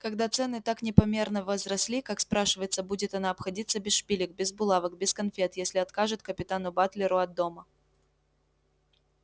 когда цены так непомерно возросли как спрашивается будет она обходиться без шпилек без булавок без конфет если откажет капитану батлеру от дома